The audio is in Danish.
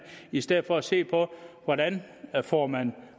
i stedet for at se på hvordan reformerne